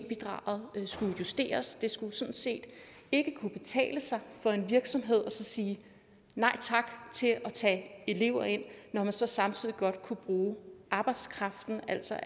bidraget skulle justeres det skulle sådan set ikke kunne betale sig for en virksomhed at sige nej tak til at tage elever ind når man så samtidig godt kunne bruge arbejdskraften altså